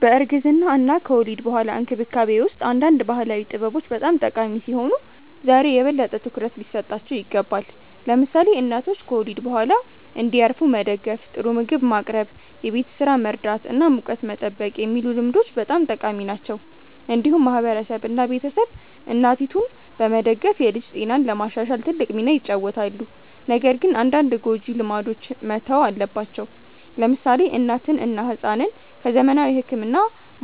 በእርግዝና እና ከወሊድ በኋላ እንክብካቤ ውስጥ አንዳንድ ባህላዊ ጥበቦች በጣም ጠቃሚ ሲሆኑ ዛሬ የበለጠ ትኩረት ሊሰጣቸው ይገባል። ለምሳሌ እናቶች ከወሊድ በኋላ እንዲያርፉ መደገፍ፣ ጥሩ ምግብ ማቅረብ፣ የቤት ስራ መርዳት እና ሙቀት መጠበቅ የሚሉ ልምዶች በጣም ጠቃሚ ናቸው። እንዲሁም ማህበረሰብ እና ቤተሰብ እናቲቱን በመደገፍ የልጅ ጤናን ለማሻሻል ትልቅ ሚና ይጫወታሉ። ነገር ግን አንዳንድ ጎጂ ልማዶች መተው አለባቸው። ለምሳሌ እናትን እና ሕፃንን ከዘመናዊ ሕክምና